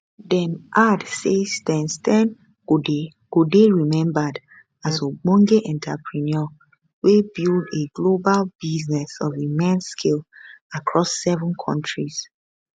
dem add say steyn steyn go dey remembered as ogbonge entrepreneur wey build a global business of immense scale across seven kontris